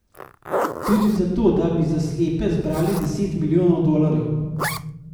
Tudi zato da bi za slepe zbral deset milijonov dolarjev.